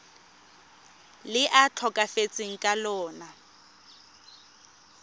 le a tlhokafetseng ka lona